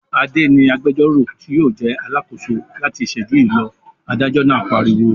"Adé ni agbẹjọ́rò tí yóò jẹ́ alákòóso láti ìṣẹ́jú yìí lọ!" Adájọ́ náà pariwo.